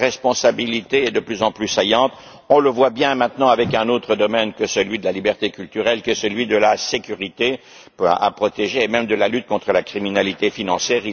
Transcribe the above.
Leur responsabilité est de plus en plus saillante. On le voit bien maintenant avec un autre domaine, qui est celui de la liberté culturelle, de la sécurité à protéger, et même de la lutte contre la criminalité financière.